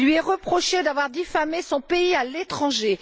Il lui est reproché d'avoir diffamé son pays à l'étranger